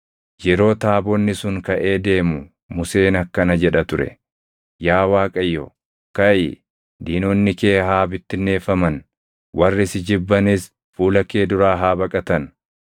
Yeroo taabonni sun kaʼee deemu Museen akkana jedha ture; “Yaa Waaqayyo, kaʼi! Diinonni kee haa bittinneeffaman; warri si jibbanis fuula kee duraa haa baqatan.”